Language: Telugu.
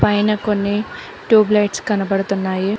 పైన కొన్ని ట్యూబ్ లైట్స్ కనబడుతున్నాయి.